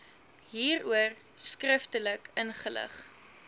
hieroor skriftelik ingelig